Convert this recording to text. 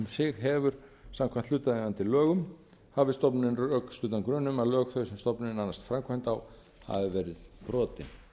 sig hefur samkvæmt hlutaðeigandi lögum hafi stofnunin rökstuddan grun um að lög þau sem stofnunin annast framkvæmd á hafi verið brotin